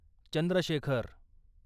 Chandrashekhar